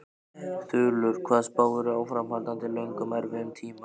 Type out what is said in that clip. Þulur: Hvað spáirðu áframhaldandi löngum erfiðum tíma?